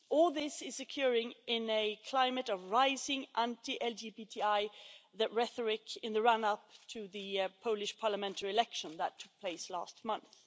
All this is occurring in a climate of rising anti LGBTI rhetoric in the run up to the Polish parliamentary election that took place last month.